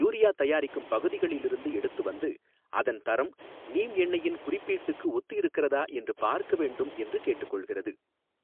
Urea தயாரிக்கும் பகுதிகளில் இருந்து எடுத்து வந்து அதன் தரம் நீம் எண்ணையின் குறிப்பீட்டுக்கு ஒத்து இருக்கிறதா என்று பார்க்க வேண்டும் என்று கேட்டுக்கொள்கிறது.